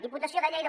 diputació de lleida